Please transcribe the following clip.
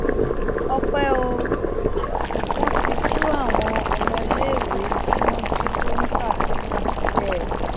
ọpẹ o wọn ti tú àwọn ọmọléèwé tí wọn jí kó ní katsina sílẹ